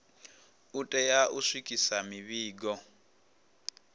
u tea u swikisa mivhigo